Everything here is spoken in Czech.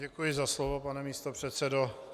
Děkuji za slovo, pane místopředsedo.